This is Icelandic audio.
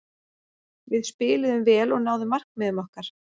Við spiluðum vel og náðum markmiðum okkar.